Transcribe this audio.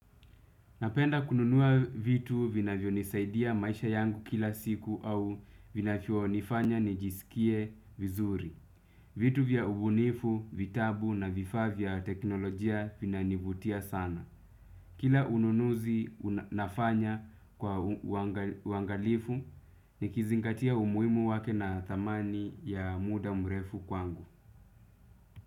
Napenda kununua vitu vinavyonisaidia maisha yangu kila siku au vinavyonifanya nijisikie vizuri. Vitu vya ubunifu, vitabu na vifaa vya teknolojia vinanivutia sana. Kila ununuzi nafanya kwa uangalifu nikizingatia umuhimu wake na thamani ya muda mrefu kwangu.